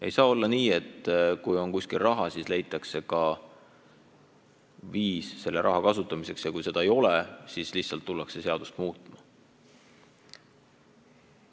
Ei saa olla nii, et kui on kuskil raha, siis leitakse ka viis selle raha kasutamiseks, ja kui seda viisi ei ole, siis lihtsalt hakatakse seadust muutma.